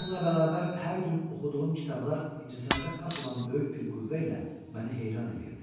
Bununla bərabər hər gün oxuduğum kitablar incəsənətə xas olan böyük bir qüvvə ilə məni heyran eləyirdi.